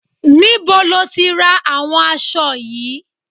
Níbo lo tí ra àwọn aṣọ yìí?